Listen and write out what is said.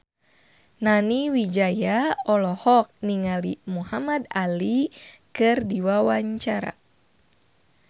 Nani Wijaya olohok ningali Muhamad Ali keur diwawancara